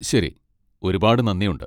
ശരി! ഒരുപാട് നന്ദിയുണ്ട്.